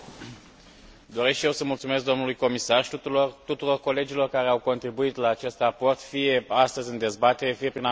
Doresc și eu să mulțumesc domnului comisar și tuturor colegilor care au contribuit la acest raport, fie astăzi în dezbatere, fie prin amendamente.